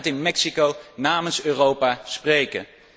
Wie gaat in Mexico namens Europa spreken?